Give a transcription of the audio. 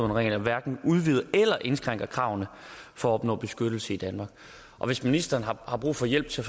regler hverken udvider eller indskrænker kravene for at opnå beskyttelse i danmark og hvis ministeren har brug for hjælp til